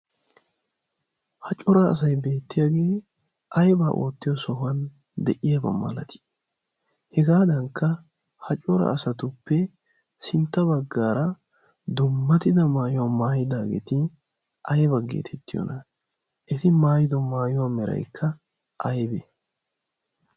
ha cora asai beettiyaagee aybaa oottiyo sohuwan deyiyaaba malatii hegaadankka ha cora asatuppe sintta baggaara dummatida maayuwaa maayidaageeti aibaggeetettiyoona eti maayido maayuwaa meraikka aybee?